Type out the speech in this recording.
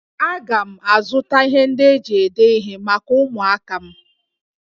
Aga m azụta ihe ndị eji ede ihe maka ụmụaka m